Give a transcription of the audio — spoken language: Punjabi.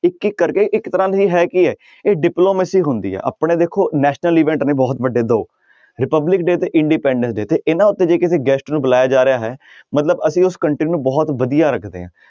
ਇੱਕ ਇੱਕ ਕਰਕੇ ਇੱਕ ਤਰ੍ਹਾਂ ਹੈ ਕੀ ਹੈ ਇਹ diplomacy ਹੁੰਦੀ ਹੈ ਆਪਣੇ ਦੇਖੋ national event ਨੇ ਬਹੁਤ ਵੱਡੇ ਦੋ republic day ਤੇ independence day ਤੇ ਇਹਨਾਂ ਉੱਤੇ ਜੇ ਕਿਸੇ guest ਨੂੰ ਬੁਲਾਇਆ ਜਾ ਰਿਹਾ ਹੈ ਮਤਲਬ ਅਸੀਂ ਉਸ country ਨੂੰ ਬਹੁਤ ਵਧੀਆ ਰੱਖਦੇ ਹਾਂ।